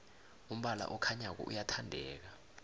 umbala okhanyako uyathandeka